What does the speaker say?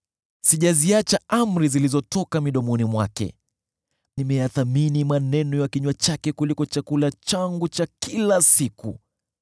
Sijaziacha amri zilizotoka midomoni mwake; nimeyathamini maneno ya kinywa chake kuliko chakula changu cha kila siku.